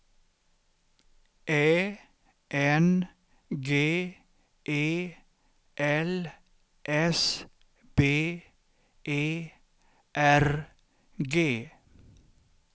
Ä N G E L S B E R G